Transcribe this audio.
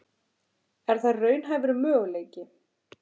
Er það raunhæfur möguleiki?